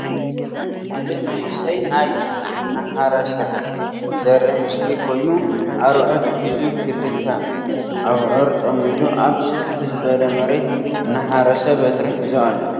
ሓደ መንእሰይ ናይ እናሓረሰ ዘርኢ ምስሊ ኮይኑ ኣርዑት ሒዙ ከልተ ኣብዑር ፀሚዱ ኣብ ስፍሕ ዝበለ መሬት እናሓረሰ በትሪ ሒዙ ኣሎ ።